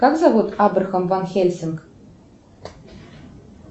как зовут абрахам ван хельсинг